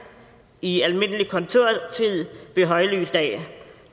i almindelig kontortid ved højlys dag